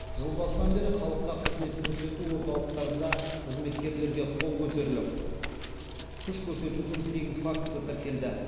жыл басынан бері халыққа қызмет көрсету орталықтарында қызметкерлерге қол көтеріліп күш көрсетудің сегіз фактісі тіркелді